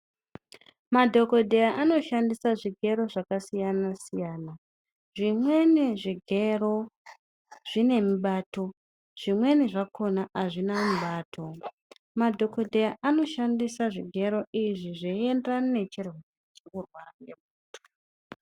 Madhokodheya anoshandisa zvigero zvakasiyana -siyana, zvimweni zvigero zvine mubato zvimweni zvakona azvina mubato. Madhokodheya anoshandisa zvigero izvi zveienderana nechirwere chiri kurwara ngemunthu.